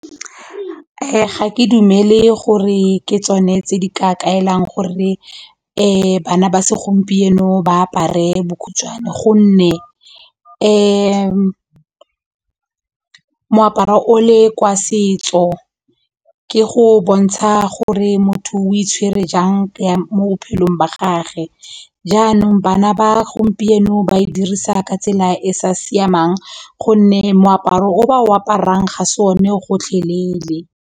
Ga ke dumele gore ke tsone tse di ka kaelang gore bana ba segompieno ba apare bokhutshwane gonne moaparo o le kwa setso ke go bontsha gore motho o itshwere jang mo bophelong ba gage jaanong bana ba gompieno ba e dirisa ka tsela e sa siamang gonne moaparo o ba o aparang ga se one gotlhelele.